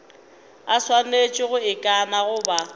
a swanetše go ikana goba